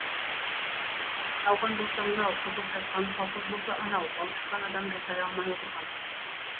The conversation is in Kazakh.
науқан болса мынау қызып жатқан колхоз болса анау балшықтан адам жасай алмай отырған